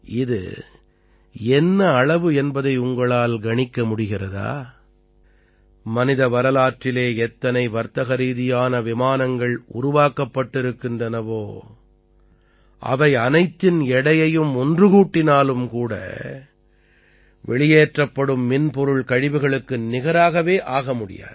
இது என்ன அளவு என்பதை உங்களால் கணிக்க முடிகிறதா மனித வரலாற்றிலே எத்தனை வர்த்தகரீதியான விமானங்கள் உருவாக்கப்பட்டிருக்கின்றனவோ அவை அனைத்தின் எடையையும் ஒன்று கூட்டினாலும் கூட வெளியேற்றப்படும் மின்பொருள் கழிவுகளுக்கு நிகராகவே ஆக முடியாது